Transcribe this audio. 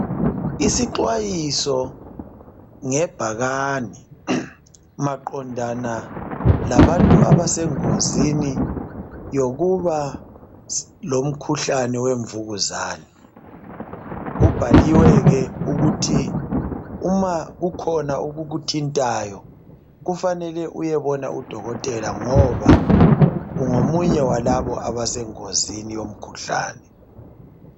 Isixwayiso ngebhakane maqondana labantu abasengozini yokuba lomkhuhlane wemvukuzana kubhaliwe ukuthi uma kukhona okukuthintayo kumele eyebona udokotela ngoba ungomunye wabantu abasengozini yalomkhuhlane